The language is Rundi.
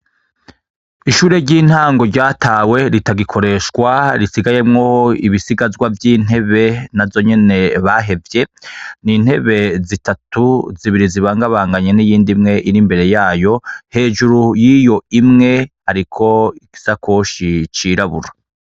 Ishure ry'intango ryatawe ritagikoreshwa risigayemwo ibisigazwa vy'intebe navyo nyene bahevye, n'intebe zitatu zibiri zibangabanganywe n'izindi ziri imbere yayo hejuru yiyo imwe hariko igishakoshi cirabura.